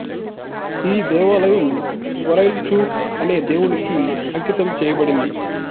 ఈ దేవాలయం గ్వరైల్ చూర్ అనే దేవుడుకి అంకితం చేయబడింది